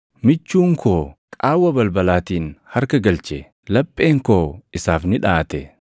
Michuun koo qaawwa balbalaatiin harka galche; lapheen koo isaaf ni dhaʼate.